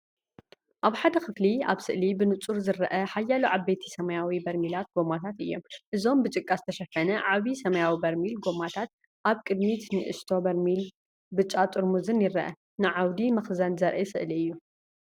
ኣብ ሓደ ክፍሊ ኣብ ስእሊ ብንጹር ዝረአ ሓያሎ ዓበይቲ ሰማያዊ በርሚላት ጎማታት እዮም። እዞም ብጭቃ ዝተሸፈነ ዓቢ ሰማያዊ በርሚል ጎማታት፣ ኣብ ቅድሚት ንእሽቶ በርሚልን ብጫ ጥርሙዝን ይርአ። ንዓውዲ መኽዘን ዘርኢ ስእሊ እዩ።